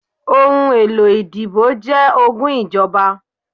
ohún elo ìdíbò jẹ ogún Ijọba.